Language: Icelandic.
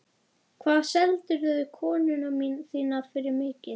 Hvað seldirðu konuna þína fyrir mikið?